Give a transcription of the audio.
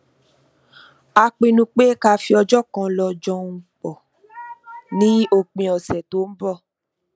a pinnu pé ká fi ọjọ kan lọ jọun pọ ní òpin ọsẹ tó ń bọ